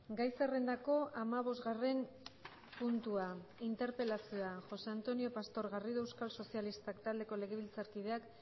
gai zerrendako hamabosgarren puntua interpelazioa josé antonio pastor garrido euskal sozialistak taldeko legebiltzarkideak